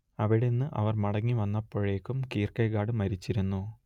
അവിടന്ന് അവർ മടങ്ങി വന്നപ്പോഴേക്കും കീർക്കെഗാഡ് മരിച്ചിരുന്നു